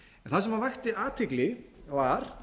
það sem vakti athygli var